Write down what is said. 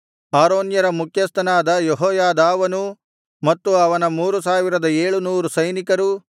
ಆರೋನ್ಯರ ಮುಖ್ಯಸ್ಥನಾದ ಯೆಹೋಯಾದಾವನೂ ಮತ್ತು ಅವನ ಮೂರು ಸಾವಿರದ ಏಳು ನೂರು ಸೈನಿಕರೂ